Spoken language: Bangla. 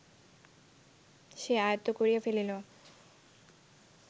সে আয়ত্ত করিয়া ফেলিল